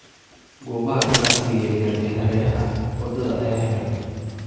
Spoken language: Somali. Goobaha ganacsiga yar yar ee hareeraha wadada ayaa xiran.